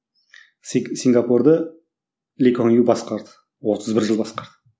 сингапурды ли куан ю басқарды отыз бір жыл басқарды